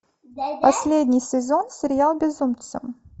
последний сезон сериал безумцы